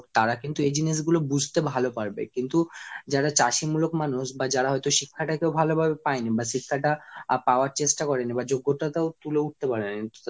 তারা কিন্তু এই জিনিসগুলো বুঝতে ভালো পারবে। কিন্তু যারা চাষি মূলক মানুষ বা যারা হয়তো শিক্ষা টাকেও ভালোভাবে পায়নি বা শিক্ষাটা পাওয়ার চেষ্টা করেনি বা যোগ্যতাটাও তুলে উঠতে পারিনি